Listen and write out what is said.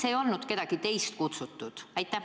Miks ei olnud kedagi teist kutsutud?